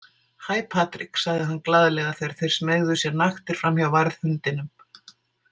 Hæ Patrik, sagði hann glaðlega þegar þeir smeygðu sér naktir framhjá varðhundinum.